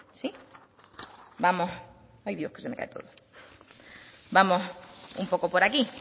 vamos un poco por aquí